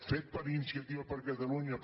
fet per iniciativa per catalunya